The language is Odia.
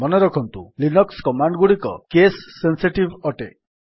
ମନେରଖନ୍ତୁ ଲିନକ୍ସ୍ କମାଣ୍ଡ୍ ଗୁଡିକ କେସ୍ ସେନ୍ସିଟିଭ୍ ଅଟେ